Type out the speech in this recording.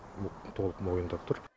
ол толық мойындап тұр